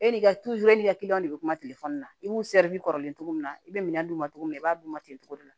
E ni e ka kiliyanw de bɛ kuma na i b'u kɔrɔlen cogo min na i bɛ minɛn d'u ma cogo min na i b'a d'u ma ten togo de la